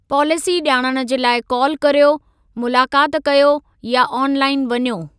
Policy जा॒णणु जे लाइ कॉल करियो, मुलाक़ाति कयो या ऑनलाइन वञो।